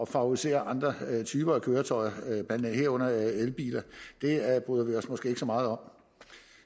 favorisere andre typer af køretøjer herunder elbiler bryder vi os måske ikke så meget om